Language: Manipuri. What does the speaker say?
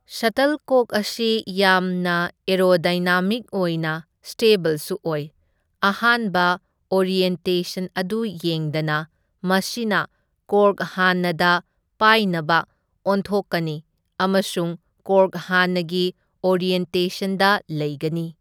ꯁꯇꯜꯀꯣꯛ ꯑꯁꯤ ꯌꯥꯝꯅ ꯑꯦꯔꯣꯗꯥꯏꯅꯥꯃꯤꯛ ꯑꯣꯏꯅ ꯁ꯭ꯇꯦꯕꯜꯁꯨ ꯑꯣꯏ, ꯑꯍꯥꯟꯕ ꯑꯣꯔꯤꯌꯦꯟꯇꯦꯁꯟ ꯑꯗꯨ ꯌꯦꯡꯗꯅ, ꯃꯁꯤꯅ ꯀꯣꯔꯛ ꯍꯥꯟꯅꯗ ꯄꯥꯏꯅꯕ ꯑꯣꯟꯊꯣꯛꯀꯅꯤ ꯑꯃꯁꯨꯡ ꯀꯣꯔꯛ ꯍꯥꯟꯅꯒꯤ ꯑꯣꯔꯤꯌꯦꯟꯇꯦꯁꯟꯗ ꯂꯩꯒꯅꯤ꯫